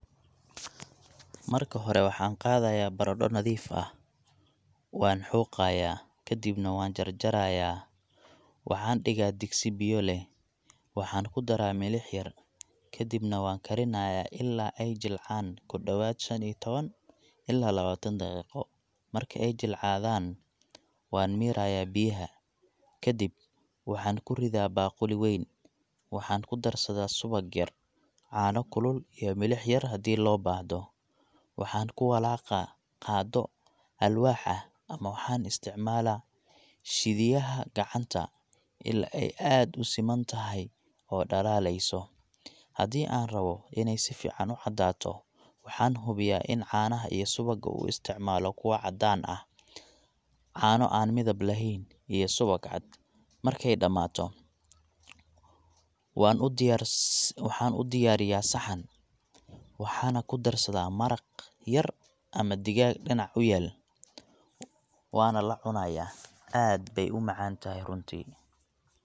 Marka hore waxaan qaadaya barado nadiif ah, waan xooqaaya kadibna waan jarjaraaya, waxaan digaa digsi biyo leh waxaan kudaraa milix yar, kadibna waan karinaaya ilaa aay jilcaan kudobaad shan iyo taban ilaa labaatan daqiiqo, marki aay jilcaan, waan miiraaya biyaha, kadib waxaan kuridaa baquli weyn, waxaan kudarsadaa subag yar, caano kulul iyo milix yar hadii loo baahdo, waxaan kuwalaaqa qaado alwaax ah ama waxaan isticmaalaa shidiyaha gacanta aad aay usiman tahay oo dalaaleyso, hadii aan rabo in aay sifican ucadaato waxaan hubiyaa in caanaha iyo subaga isticmaalo kuwa cadaan ah, caano aan midab leheyn iyo subag cad, markaay damaato, waxaan udiyaariya saxan waxaana kudarsadaa maraq yar ama digaag dinac uyaal, waana lacunaaya, aad baay umacaan tahay runtii.